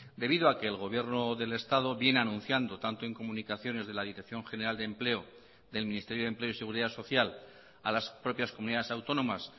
debido a que el gobierno del estado viene anunciando tanto en comunicaciones de la dirección general de empleo y del ministerio de empleo y seguridad social a las propias comunidades autónomas